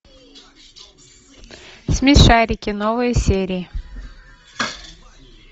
смешарики новые серии